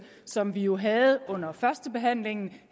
som vi jo havde under førstebehandlingen